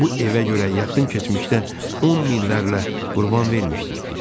Bu evə görə yaxın keçmişdə on minlərlə qurban vermişdik biz.